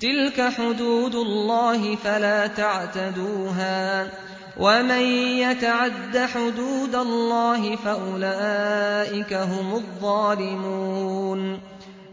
تِلْكَ حُدُودُ اللَّهِ فَلَا تَعْتَدُوهَا ۚ وَمَن يَتَعَدَّ حُدُودَ اللَّهِ فَأُولَٰئِكَ هُمُ الظَّالِمُونَ